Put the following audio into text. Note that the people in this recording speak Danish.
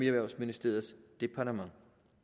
erhvervsministeriets departement